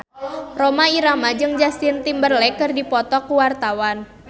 Rhoma Irama jeung Justin Timberlake keur dipoto ku wartawan